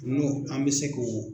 N'o an bɛ se k'o.